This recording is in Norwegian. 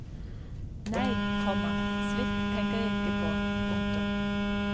Nei, komma slikt tenker jeg ikke på. punktum